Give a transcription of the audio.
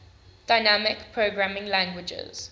dynamic programming languages